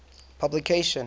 publication